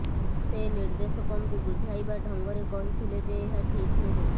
ସେ ନିର୍ଦ୍ଦେଶକଙ୍କୁ ବୁଝାଇବା ଢଙ୍ଗରେ କହିଥିଲେ ଯେ ଏହା ଠିକ୍ ନୁହେଁ